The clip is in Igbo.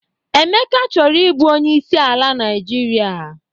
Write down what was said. Emeka chọrọ ị bụ Onyeisi ala Naịjirịa.